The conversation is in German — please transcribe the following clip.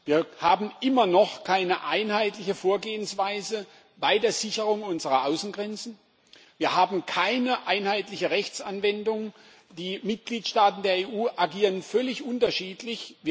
Wir haben noch immer keine einheitliche Vorgehensweise bei der Sicherung unserer Außengrenzen, wir haben keine einheitliche Rechtsanwendung, die Mitgliedsstaaten der EU agieren völlig unterschiedlich.